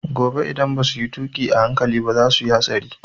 Gobe idan basu yi tuƙi a hankali ba za su yi hatsari